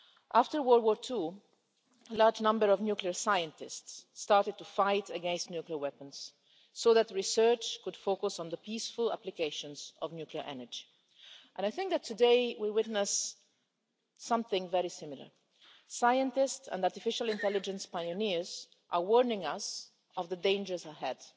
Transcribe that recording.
After World War II, a large number of nuclear scientists started to oppose nuclear weapons so that research could focus on the peaceful applications of nuclear energy, and I think that today we are witnessing something very similar scientists and artificial intelligence pioneers are warning us of the dangers ahead.